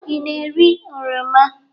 Ị na-eri oroma?